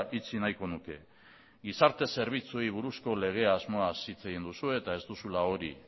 itxi nahiko nuke gizarte zerbitzuei buruzko lege asmoaz hitz egin duzue eta ez duzula hori